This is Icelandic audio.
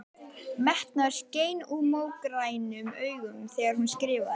Metnaður skein úr mógrænum augunum þegar hún skrifaði.